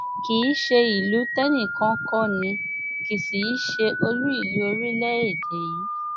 kì í ṣe ìlú tẹnìkan kọ ni kì í sì í ṣe olú ìlú orílẹèdè yìí